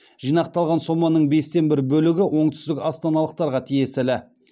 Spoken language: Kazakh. жинақталған соманың бестен бір бөлігі оңтүстік астаналықтарға тиесілі